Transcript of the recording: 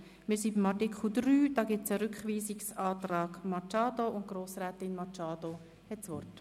Wir sind bei Artikel 3, zu dem ein Rückweisungsantrag von Grossrätin Machado vorliegt.